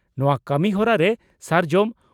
ᱱᱚᱣᱟ ᱠᱟᱹᱢᱤᱦᱚᱨᱟ ᱨᱮ ᱥᱟᱨᱡᱚᱢ